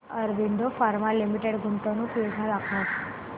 Aurobindo pharma limited गुंतवणूक योजना दाखव